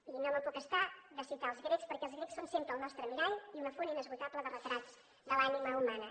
i no me’n puc estar de citar els grecs perquè els grecs són sempre el nostre mirall i una font inesgotable de retrats de l’ànima humana